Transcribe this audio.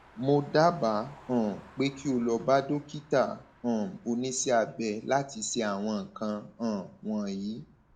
mo dábàá um pé kí o lọ bá dókítà um oníṣẹabẹ láti ṣe àwọn nǹkan um wọnyí